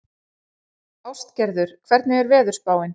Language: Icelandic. Ástgerður, hvernig er veðurspáin?